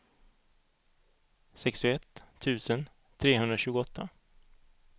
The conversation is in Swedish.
sextioett tusen trehundratjugoåtta